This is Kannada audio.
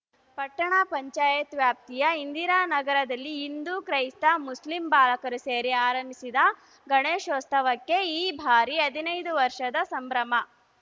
ಪಟ್ಟಣ ಪಂಚಾಯತ್ ವ್ಯಾಪ್ತಿಯ ಇಂದಿರಾನಗರದಲ್ಲಿ ಹಿಂದೂ ಕ್ರೈಸ್ತ ಮುಸ್ಲಿಂ ಬಾಲಕರು ಸೇರಿ ಆರಂಭಿಸಿದ ಗಣೇಶೋತ್ಸವಕ್ಕೆ ಈ ಬಾರಿ ಹದಿನೈದು ವರ್ಷದ ಸಂಭ್ರಮ